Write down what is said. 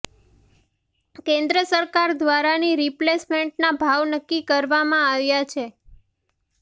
કેન્દ્ર સરકાર દ્વારાની રિપ્લેસમેન્ટના ભાવ નક્કી કરવામાં આવ્યા છે